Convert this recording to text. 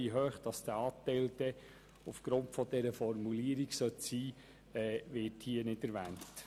Wie hoch er aufgrund dieser Formulierung dann sein soll, wird nicht erwähnt.